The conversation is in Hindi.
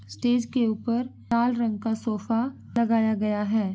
स्टेज के ऊपर लाल रंग का सोफा लगाया गया है।